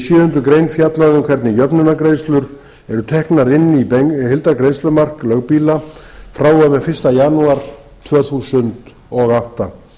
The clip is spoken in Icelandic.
sjöundu greinar fjallað um hvernig jöfnunargreiðslur eru teknar inn í heildargreiðslumark lögbýla frá og með fyrsta janúar tvö þúsund og átta